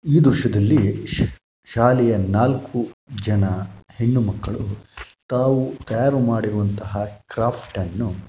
ಈ ದೃಶ್ಯದಲ್ಲಿ ಶಾಲೆಯ ನಾಲ್ಕು ಜನ ಹೆಣ್ಣು ಮಕ್ಕಳು ತಾವು ತಯಾರು ಮಾಡಿರುವಂತಹ ಕ್ರಾಫ್ಟ್‌ನ್ನು --